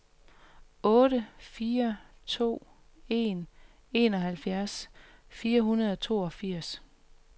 otte fire to en enoghalvfjerds fire hundrede og toogfirs